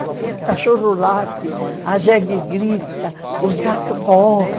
O cachorro late, a jegue grita, os gatos correm.